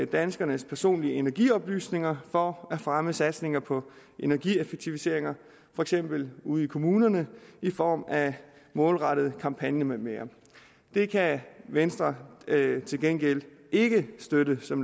danskernes personlige energioplysninger for at fremme satsninger på energieffektiviseringer for eksempel ude i kommunerne i form af målrettede kampagner med mere det kan venstre til gengæld ikke støtte som